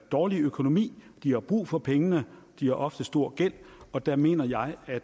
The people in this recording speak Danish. dårlig økonomi de har brug for pengene og de har ofte stor gæld og der mener jeg at